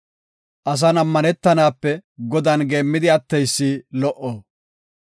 Asan ammanetanape Godan geemmidi atteysi lo77o.